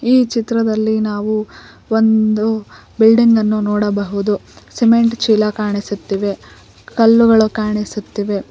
ಈ ಚಿತ್ರದಲ್ಲಿ ನಾವು ಒಂದು ಬಿಲ್ಡಿಂಗ್ ನನ್ನು ನೋಡಬಹುದು ಸಿಮೆಂಟ್ ಚೀಲ ಕಾಣಿಸುತ್ತಿವೆ ಕಲ್ಲುಗಳು ಕಾಣಿಸುತ್ತಿವೆ.